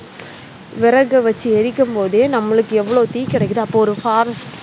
விறகை வெச்சி எரிக்கும் போதே நம்மளுக்கு எவ்ளோ தீ கிடைக்குது அப்ப ஒரு forest